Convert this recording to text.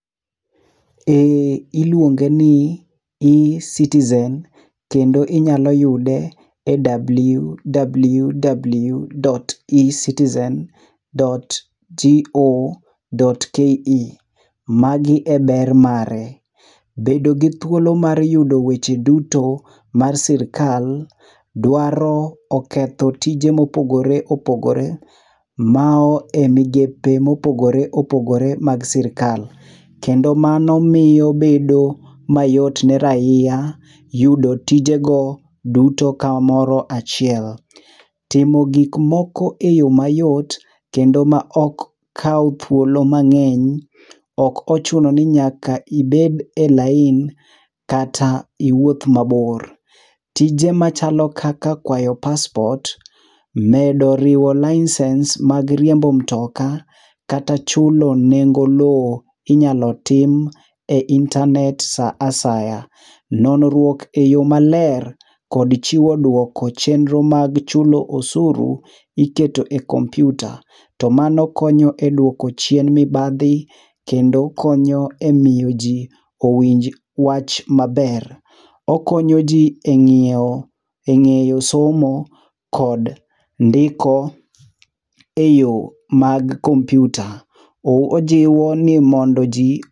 Ee iluonge n i ecitizen kendo inyalo yudo e www dot ecitizen dot to dot ke. Ma gi e ber mare; bedo gi thuolo mar yudo weche duto ma sirkal dwaro ,oketho tije ma opogore opogore ma e migepe ma opogore opogore mar sirkal ,kendo mano miyo bedo mayot ne raia yudo tije go duto ka moro achiel. Timo gik moko e yoo mayot ma ok kaw thuolo mang'eny ok ochuno ni nyaka ibed e lain kata iwuoth mabor. Tije machalo kaka kwayo passport, medo riwo license mag riembo mtoka, kata chulo nengo loo inyalo tim e intanet sa asaya . Nonruok e yo maber kod chiwo dwoko chenro mag chulo osuru iket o e kompyuta to mano konyo e dwoko chien mibadhi kendo okonyo ji e miyo ji owinj wach ma ber ,okonyo ji e ngiiewo e ngeyo somo kod ndiko e yo mag kompyuta ojiwo ni mondo ji.